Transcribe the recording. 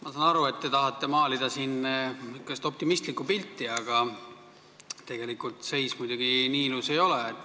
Ma saan aru, et te tahate siin maalida säärast optimistlikku pilti, aga tegelikult seis muidugi nii ilus ei ole.